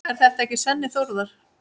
Er þetta ekki Svenni Þórðar?